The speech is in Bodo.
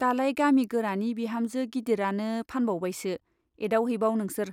दालाय गामि गोरानि बिहामजो गिदिरानो फानबावबायसो , एदावहैबाव नोंसोर।